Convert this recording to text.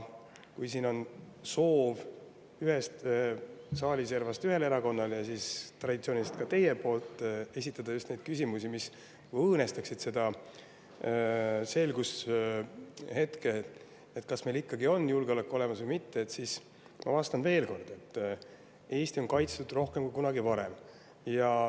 Kui siin ühes saali servas ühel erakonnal ja traditsiooniliselt ka teie poolt on soov esitada just neid küsimusi, mis õõnestaksid seda selgushetke, kas meil ikkagi on julgeolek olemas või mitte, siis ma vastan veel kord: Eesti on kaitstud rohkem kui kunagi varem.